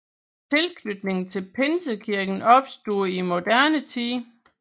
Tilknytningen til Pinsekirken opstod i moderne tid